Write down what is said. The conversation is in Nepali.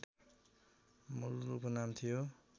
मूल उपनाम थियो